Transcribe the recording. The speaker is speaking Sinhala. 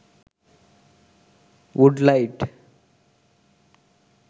wood light